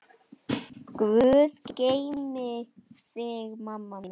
Guð geymi þig, mamma mín.